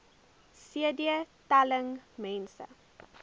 cd telling mense